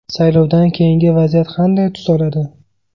Saylovdan keyingi vaziyat qanday tus oladi?